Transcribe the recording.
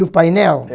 O painel?